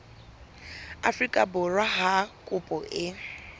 afrika borwa ha kopo e